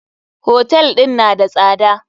Hotel ɗin na da tsada.